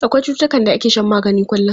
Akwai cututtukan da ake shan magani kullum.